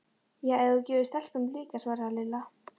Já, ef þú gefur stelpunum líka svaraði Lilla.